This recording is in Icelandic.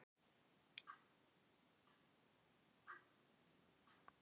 spurði Jón Bjarnason.